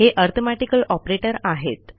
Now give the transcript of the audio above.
हे arithmetical operator आहेत